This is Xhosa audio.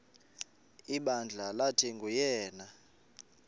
ibandla lathi nguyena